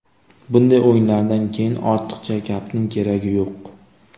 Bunday o‘yinlardan keyin ortiqcha gapning keragi yo‘q.